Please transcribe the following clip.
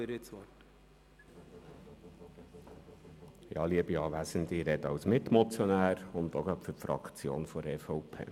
Ich spreche als Mitmotionär und auch für die Fraktion der EVP.